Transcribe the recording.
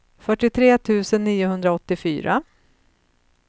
fyrtiotre tusen niohundraåttiofyra